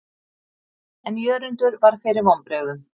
En Jörundur varð fyrir vonbrigðum.